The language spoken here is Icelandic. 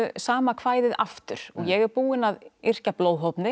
sama kvæðið aftur ég er búin að yrkja